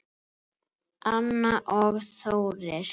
Anna og Þórir.